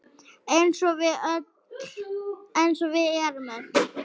Eins og við erum öll.